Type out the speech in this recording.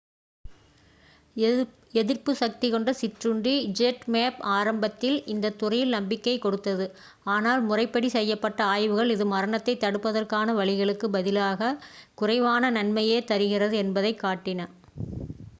எதிர்ப்புசக்திக் கொண்ட சிற்றுண்டி zmapp ஆரம்பத்தில் இந்தத் துறையில் நம்பிக்கைக் கொடுத்தது ஆனால் முறைப்படி செய்யப்பட்ட ஆய்வுகள் இது மரணத்தை தடுப்பதற்கான வழிகளுக்குப் பதிலாக குறைவான நன்மையே தருகிறது என்பதைக் காட்டின